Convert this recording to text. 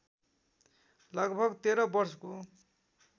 लगभग १३ वर्षको